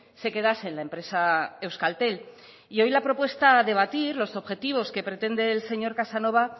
se quedase en la empresa euskaltel y hoy la propuesta a debatir los objetivos que pretende el señor casanova